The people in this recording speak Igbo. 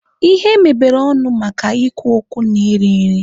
Ihe mebere ọnụ maka ikwu okwu na iri nri